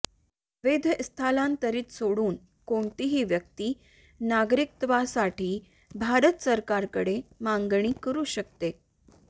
अवैध स्थलांतरीत सोडून कोणतीही व्यक्ती नागरिकत्वासाठी भारत सरकारकडे मागणी करू शकते